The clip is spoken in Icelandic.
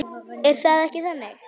Er það ekki þannig?